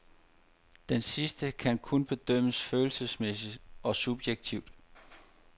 Denne sidste kan kun bedømmes følelsesmæssigt og subjektivt.